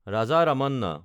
Raja Ramanna